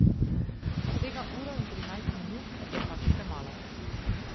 Vsega uro in trinajst minut je pač premalo.